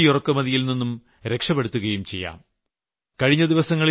ഭാരതത്തിന് തടി ഇറക്കുമതിയിൽ നിന്ന് രക്ഷപ്പെടുകയും ചെയ്യാം